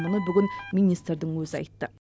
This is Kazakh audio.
мұны бүгін министрдің өзі айтты